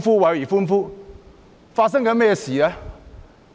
究竟發生了甚麼事？